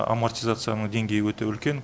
амартизацияның деңгейі өте үлкен